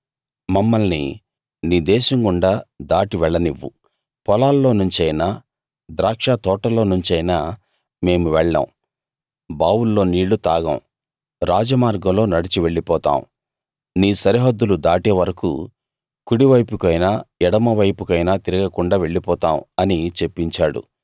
మమ్మల్ని నీ దేశం గుండా దాటి వెళ్లనివ్వు పొలాల్లోనుంచైనా ద్రాక్షతోటల్లోనుంచైనా మేము వెళ్ళం బావుల్లో నీళ్లు తాగం రాజ మార్గంలో నడిచి వెళ్ళిపోతాం నీ సరిహద్దులు దాటే వరకూ కుడివైపుకైనా ఎడమవైపుకైనా తిరుగకుండా వెళ్ళిపోతాం అని చెప్పించాడు